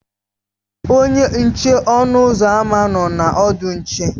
Onye nche ọnụ ụzọ ámá nọ na ọdụ nche.